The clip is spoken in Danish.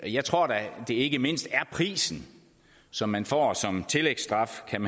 jeg tror da at det ikke mindst er prisen som man får som tillægsstraf kan